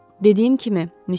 Dediyim kimi, Müsyo.